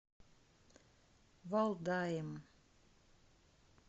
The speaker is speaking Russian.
валдаем